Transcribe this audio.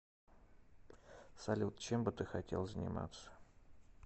салют чем бы ты хотел заниматься